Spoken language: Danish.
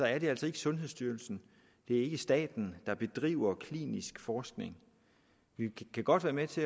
er det altså ikke sundhedsstyrelsen staten der bedriver klinisk forskning vi kan godt være med til